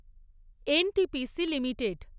NTPC limited